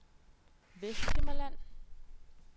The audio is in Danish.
Vesthimmerland